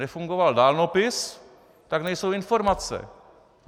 Nefungoval dálnopis, tak nejsou informace.